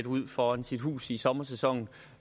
ud foran sit hus i sommersæsonen